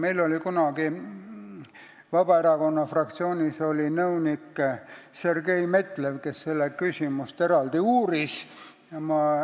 Meil oli kunagi Vabaerakonna fraktsioonis nõunik Sergei Metlev, kes seda küsimust eraldi uuris.